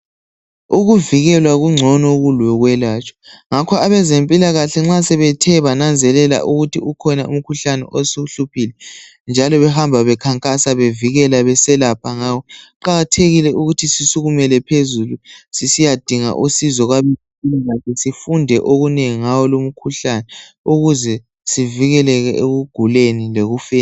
Ukuvikelwa kungcono kulokwelatshwa ngakho abezempilakahle nxa sebethe bananzelele ukuthi ukhona umkhuhlane osuhluphile njalo behamba bekhankasa beselapha bevikela ngawo kuqakathekile ukuthi sisukumele phezulu sisiyadinga usizo kwabezempilakahle sifunde ngawo lumkhuhlane ukuze sivikeleke ekuguleni lekufeni